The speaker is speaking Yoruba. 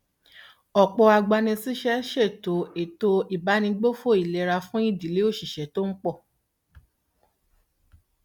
ọpọ agbanisíṣẹ ṣètò ètò ìbánigbófò ìlera fún ìdílé òṣìṣẹ tó ń pọ